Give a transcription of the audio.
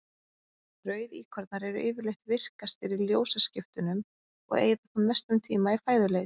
Rauðíkornar eru yfirleitt virkastir í ljósaskiptunum og eyða þá mestum tíma í fæðuleit.